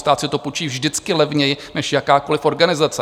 Stát si to půjčí vždycky levněji než jakákoliv organizace.